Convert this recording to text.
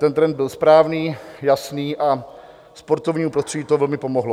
Ten trend byl správný, jasný a sportovnímu prostředí to velmi pomohlo.